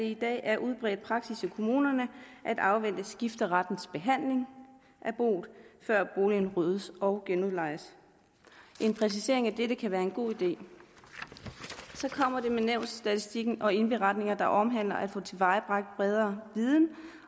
i dag er udbredt praksis i kommunerne at afvente skifterettens behandling af boet før boligen ryddes og genudlejes en præcisering af dette kan være en god idé så kommer det med nævnsstatistikken og indberetninger der omhandler at få tilvejebragt bredere viden